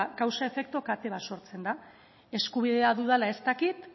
kausa efektu kate bat sortzen da eskubidea dudala ez dakit